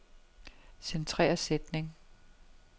Centrer sætning.